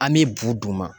An bɛ bu d'u ma